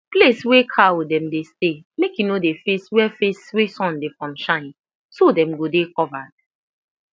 place wey cow dem dey stay make e no dey face wey face wey sun dey from shine so dem go dey covered